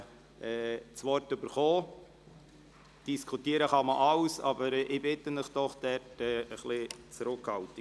Man kann alles diskutieren, aber ich bitte Sie doch um etwas Zurückhaltung.